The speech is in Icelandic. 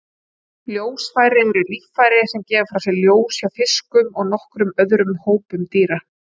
Ljósfæri eru líffæri sem gefa frá sér ljós hjá fiskum og nokkrum öðrum hópum dýra.